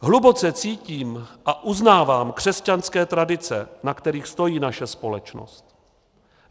Hluboce cítím a uznávám křesťanské tradice, na kterých stojí naše společnost.